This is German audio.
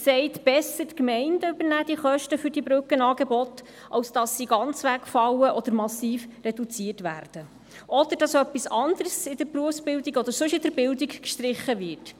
Besser die Gemeinden übernehmen die Kosten für die Brückenangebote, als dass diese ganz wegfallen oder massiv reduziert werden, oder dass etwas anderes in der Berufsbildung oder sonst in der Bildung gestrichen wird.